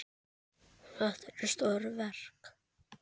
Þetta eru stór verk.